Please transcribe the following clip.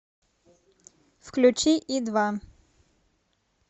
включи и два